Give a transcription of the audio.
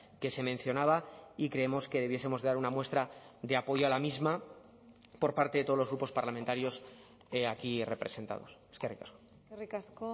que se mencionaba y creemos que debiesemos de dar una muestra de apoyo a la misma por parte de todos los grupos parlamentarios aquí representados eskerrik asko eskerrik asko